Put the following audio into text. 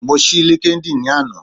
Mo ṣí LinkedIn ni ana